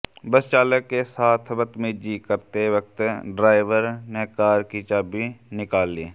बस चालक के साथ बदतमीजी करते वक्त ड्राइवर ने कार की चाबी निकाल ली